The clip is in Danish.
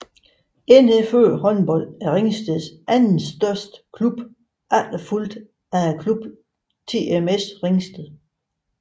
NFØ Håndbold er Ringsteds anden største klub efterfulgt af klubben TMS Ringsted